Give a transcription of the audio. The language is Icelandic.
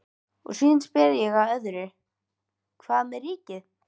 Og síðan spyr ég að öðru, hvað með ríkið?